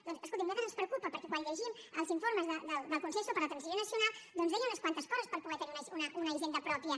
doncs escolti’m a nosaltres ens preocupa perquè quan llegim els informes del consell per a la transició nacional doncs deia unes quantes coses per poder tenir una hisenda pròpia